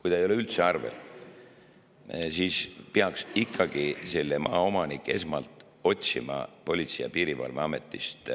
Kui ta ei ole üldse arvel, siis peaks ikkagi see maaomanik esmalt otsima Politsei‑ ja Piirivalveametist